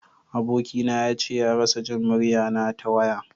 Aboki na ya ce ya rasa Jin murya na ta waya.